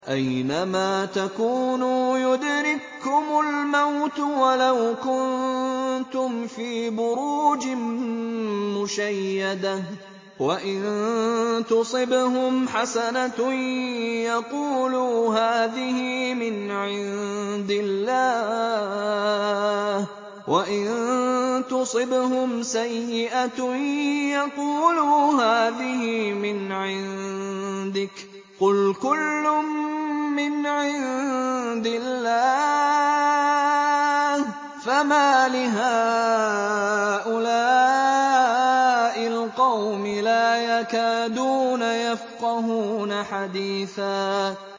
أَيْنَمَا تَكُونُوا يُدْرِككُّمُ الْمَوْتُ وَلَوْ كُنتُمْ فِي بُرُوجٍ مُّشَيَّدَةٍ ۗ وَإِن تُصِبْهُمْ حَسَنَةٌ يَقُولُوا هَٰذِهِ مِنْ عِندِ اللَّهِ ۖ وَإِن تُصِبْهُمْ سَيِّئَةٌ يَقُولُوا هَٰذِهِ مِنْ عِندِكَ ۚ قُلْ كُلٌّ مِّنْ عِندِ اللَّهِ ۖ فَمَالِ هَٰؤُلَاءِ الْقَوْمِ لَا يَكَادُونَ يَفْقَهُونَ حَدِيثًا